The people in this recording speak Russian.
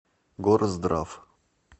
горздрав